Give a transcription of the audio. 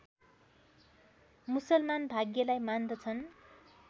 मुसलमान भाग्यलाई मान्दछन्